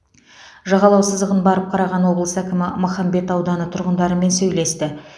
жағалау сызығын барып қараған облыс әкімі махамбет ауданы тұрғындарымен сөйлесті